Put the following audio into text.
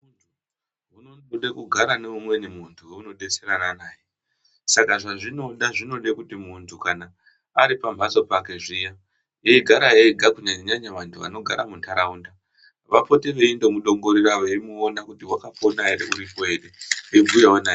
Zvinode kugara neumweni muntu waunodetserana naye saka zvazvinoda zvinode kuti muntu kana ari pamhatso pake zviya eigara ega kunyanya nyanya vantu vanogara munharaunda vapote veindomudongorera vemuona kuti wakapona ere munhu wedu veibhuyawo naye.